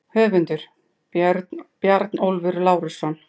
Höfundur: Bjarnólfur Lárusson